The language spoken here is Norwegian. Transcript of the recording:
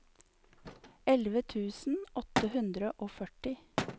elleve tusen åtte hundre og førti